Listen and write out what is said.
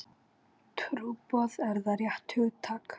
Trúboð, er það rétt hugtak?